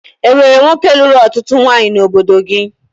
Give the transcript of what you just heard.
E nwere nwoke lụrụ ọtụtụ ụmụnwaanyị n'obodo gị?